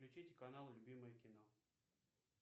включить канал любимое кино